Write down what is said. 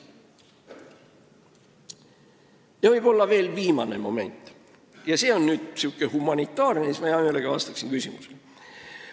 Ja viimaks veel ühest humanitaarsest momendist, misjärel ma vastan hea meelega küsimustele.